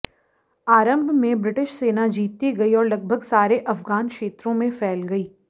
आरंभ में ब्रिटिश सेना जीतती गई और लगभग सारे अफ़गान क्षेत्रों में फैल गई